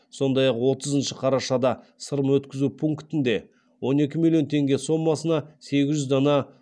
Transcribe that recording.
сондай ақ отызыншы қарашада сырым өткізу пунктінде он екі миллион теңге сомасына сегіз жүз дана